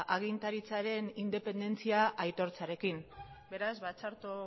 agintaritzaren independentzia aitortzearekin beraz ba txarto